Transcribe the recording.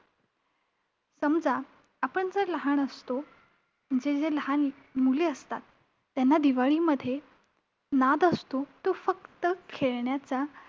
समजा, आपण जर लहान असतो, जे जे लहान मुले असतात, त्यांना दिवाळीमध्ये नाद असतो तो फक्त खेळण्याचा.